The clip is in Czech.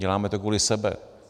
Děláme to kvůli sobě.